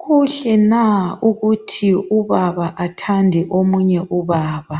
Kuhle na ukuthi ubaba athande omunye ubaba?